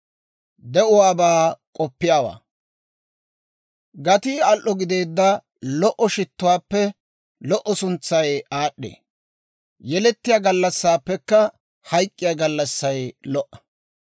Gatii al"o gideedda lo"o shittuwaappe lo"o suntsay aad'd'ee; yelettiyaa gallassaappekka hayk'k'iyaa gallassay lo"a.